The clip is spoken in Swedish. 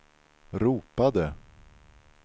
ropade